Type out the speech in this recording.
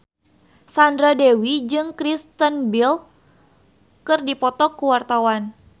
Sandra Dewi jeung Kristen Bell keur dipoto ku wartawan